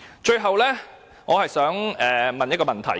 最後，我想提出一個問題。